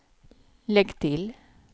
lägg till